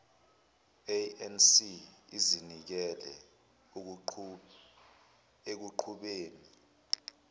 anc izinikele ekuqhubeni